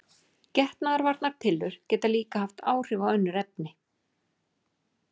Venjulega hefur smárinn aðeins þrjú lauf en talan þrír er almennt álitin happatala.